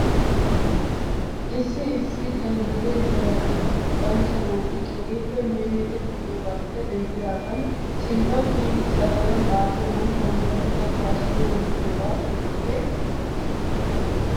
Issi issi ganddattiyaa heeratuura luxanchcha naati keehippe minnidi luxiyoogaappe denddidaagan sinttaw kiyidi saleedan xaafiyoogan batta luxettaa suure luxiyoogee keehippe lo'es.